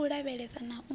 u u lavhesa na u